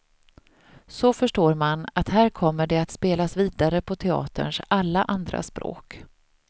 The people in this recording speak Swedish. Så förstår man att här kommer det att spelas vidare på teaterns alla andra språk.